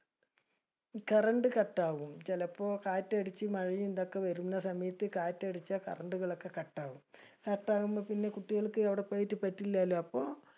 Current cut ആവും. ചെലപ്പോ കാറ്റടിച് മഴയും ഇതൊക്കെ വരുന്ന സമയത് കാറ്റടിച്ചു current ട്ടുകൾ ഒക്കെ cut ആവും. Cut ആവുമ്പോ പിന്നെ കുട്ടികൾക്ക് അവിടെ പോയിട്ട് പറ്റില്ലലോ. അപ്പൊ